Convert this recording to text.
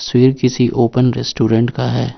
स्वीर किसी open restaurant का है।